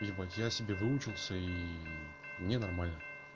ебать я себе выучился и мне нормально